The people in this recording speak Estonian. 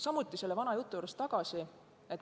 Samuti tulen tagasi ühe vana jutu juurde.